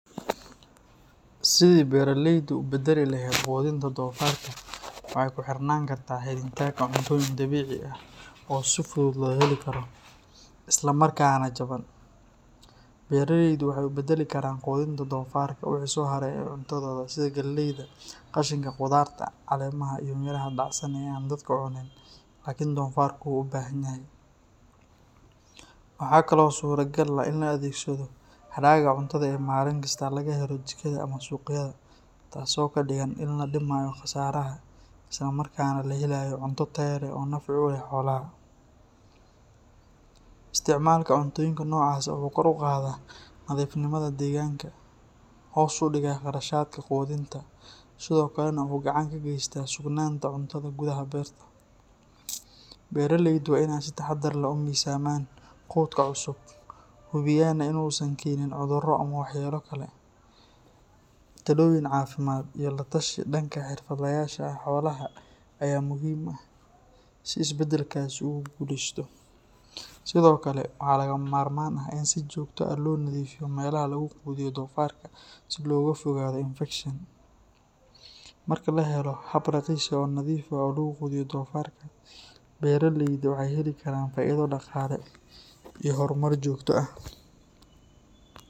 Sidii beraleydu u beddeli lahayd quudinta doofaarka waxay ku xirnaan kartaa helitaanka cuntooyin dabiici ah oo si fudud loo heli karo, isla markaana jaban. Beraleydu waxay u beddeli karaan quudinta doofaarka wixii soo haray ee cuntadooda sida galleyda, qashinka khudaarta, caleemaha, iyo miraha dhacsan ee aan dadku cunin laakiin doofaarku u baahanyahay. Waxaa kale oo suuragal ah in la adeegsado hadhaaga cuntada ee maalin kasta laga helo jikada ama suuqyada, taasoo ka dhigan in la dhimayo khasaaraha isla markaana la helayo cunto tayo leh oo nafci u leh xoolaha. Isticmaalka cuntooyinka noocaas ah wuxuu kor u qaadaa nadiifnimada deegaanka, hoos u dhigaa kharashaadka quudinta, sidoo kalena wuxuu gacan ka geystaa sugnaanta cunnada gudaha beerta. Beraleydu waa inay si taxadar leh u miisaamaan quudka cusub, hubiyaana in uusan keenin cudurro ama waxyeelo kale. Talooyin caafimaad iyo la-tashi dhanka xirfadlayaasha xoolaha ayaa muhiim ah si isbeddelkaasi ugu guuleysto. Sidoo kale, waa lagama maarmaan in si joogto ah loo nadiifiyo meelaha lagu quudiyo doofaarka si looga fogaado infekshan. Marka la helo hab raqiis ah oo nadiif ah oo lagu quudiyo doofaarka, beraleydu waxay heli karaan faa’iido dhaqaale iyo horumar joogto ah